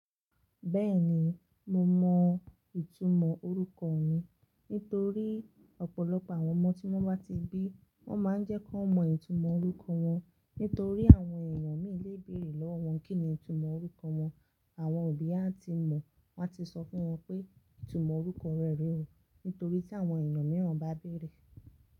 Bẹ́ẹ̀ni mo mọ ìtumọ̀ orúkọ mi nítorí ọ̀pọ̀lọpọ̀ àwọn ọmọ tí wọ́n bá ti bí wọ́n ma ń jẹ́ kí wọ́n mọ ìtumọ̀ orúkọ wọn. Nítorí àwọn èèyàn míì lé béèrè lọ́wọ́ wọn kíni ìtumọ̀ orúkọ wọn. Àwọn òbí á ti mọ̀, wọ́n á ti sọ fún wọn pé ìtumọ̀ orúkọ rẹ rí o. Nítorí tí àwọn èèyàn mìíràn bá béèrè.